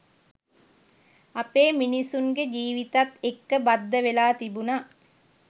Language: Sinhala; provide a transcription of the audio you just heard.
අපේ මිනිස්සුන්ගේ ජීවිතත් එක්ක බද්ධ වෙලා තිබුණා.